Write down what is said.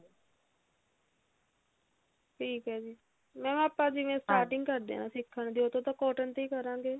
ਠੀਕ ਹੈ ਜੀ mam ਆਪਾਂ ਜਿਵੇਂ starting ਕਰਦੇ ਆਂ ਸਿੱਖਣ ਦੀ ਉਦੋਂ ਤਾਂ cotton ਤੇ ਹੀ ਕਰਾਂਗੇ